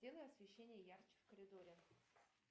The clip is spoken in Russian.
сделай освещение ярче в коридоре